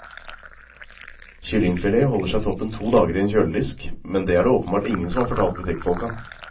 Kyllingfilet holder seg toppen to dager i en kjøledisk, men det er det åpenbart ingen som har fortalt butikkfolka.